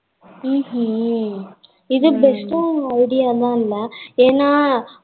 ம்கும் இது best ஆனா idea தா இல்ல ஏன்னா